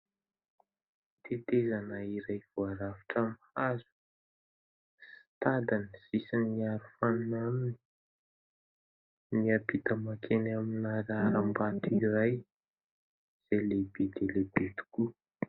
Tetezana iray voarafitra amin'ny hazo. Tady no sisin'ny arofanina aminy, miampita mankeny amin'ny harambato iray izay lehibe dia lehibe tokoa.